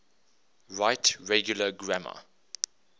right regular grammar